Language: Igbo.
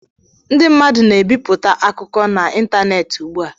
Ndị mmadụ na-ebipụta akụkọ n'ịntanetị ugbu a.